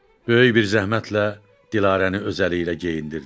Böyük bir zəhmətlə Dilarəni öz əliylə geyindirdi.